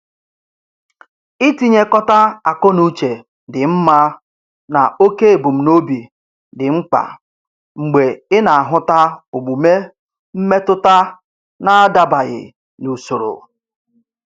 Itinyekọta akọnuche dị mma na oke ebumnobi dị mkpa mgbe ị na-ahụta omume mmetụta na-adabaghị n'usoro